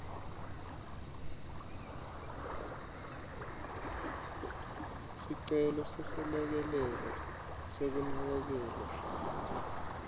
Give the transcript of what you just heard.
sicelo seselekelelo sekunakekelwa